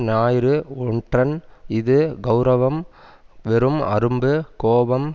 ஞாயிறு ஒற்றன் இஃது கெளரவம் வெறும் அரும்பு கோபம்